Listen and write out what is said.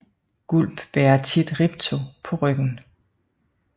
Gulp bærer tit Ripto på ryggen